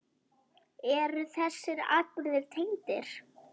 En eru þessir atburðir tengdir?